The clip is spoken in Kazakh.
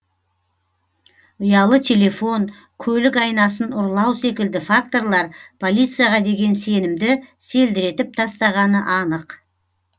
ұялы телефон көлік айнасын ұрлау секілді факторлар полицияға деген сенімді селдіретіп тастағаны анық